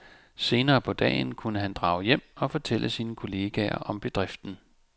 Senere på dagen kunne han drage hjem og fortælle sine kolleger om bedriften.